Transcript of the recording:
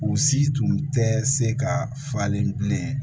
U si tun tɛ se ka falen bilen